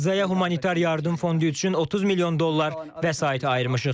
Qəzzaya humanitar yardım fondu üçün 30 milyon dollar vəsait ayırmışıq.